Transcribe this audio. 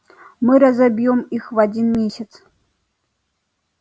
мы разобьём их в один месяц